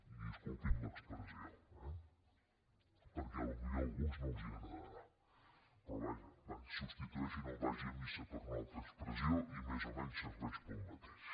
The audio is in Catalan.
i disculpin l’expressió eh perquè potser a alguns no els deu agradar però vaja va substitueixin el vagi a missa per una altra expressió i més o menys serveix per al mateix